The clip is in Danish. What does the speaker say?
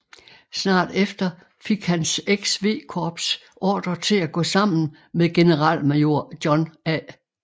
Snart efter fik hans XV Corps ordre til at gå sammen med generalmajor John A